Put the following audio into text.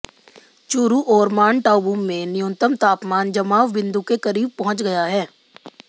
चूरू और माउंट आबू में न्यूनतम तापमान जमाव बिन्दु के करीब पहुंच गया है